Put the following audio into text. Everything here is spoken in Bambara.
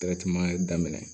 daminɛ